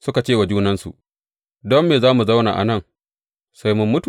Suka ce wa junansu, Don me za mu zauna a nan sai mun mutu?